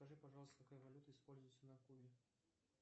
скажи пожалуйста какая валюта используется на кубе